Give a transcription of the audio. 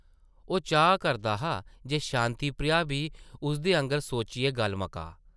ओह् चाह् करदा हा जे शांति प्रिया बी उसदे आंगर सोचियै गल्ल मकाऽ।